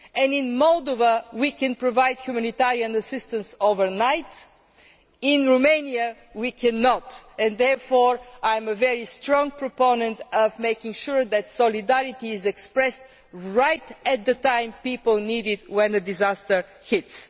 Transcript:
In Moldova we can provide humanitarian assistance overnight, in Romania we cannot. I am therefore a very strong proponent of making sure that solidarity is expressed right at the time when people need it when a disaster